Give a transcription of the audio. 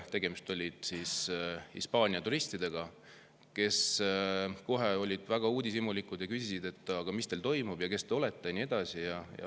Tegemist oli Hispaania turistidega, kes olid väga uudishimulikud ja küsisid, mis siin toimub, kes te olete ja nii edasi.